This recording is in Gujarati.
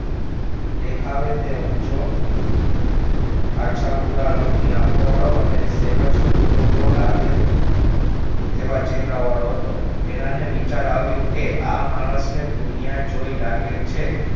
દેખાવે તે ઉંચો આછા ભૂરા રંગની આખો વાળો અને સહેજ ક્રૂરો લાગે તેવા ચહેરા વાળો હતો વેરાને વિચાર આવ્યો કે આ માણસે દુનિયા જોય લાગે છે